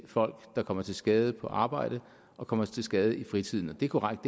folk der kommer til skade på arbejde og kommer til skade i fritiden det er korrekt